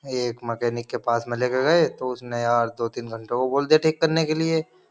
एक मैकेनिक के पास में लेकर गए तो उसने यार दो-तीन घंटों को बोल दिया ठीक करने के लिए।